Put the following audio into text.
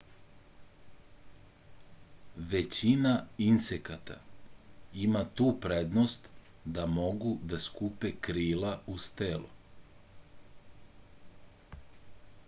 većina insekata ima tu prednost da mogu da skupe krila uz telo